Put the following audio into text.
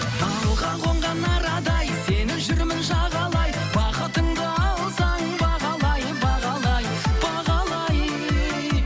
балға қонған арадай сені жүрмін жағалай бақытыңды алсаң бағалай бағалай бағалай